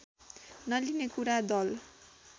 नलिने कुरा दल